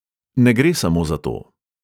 Ne gre samo za to.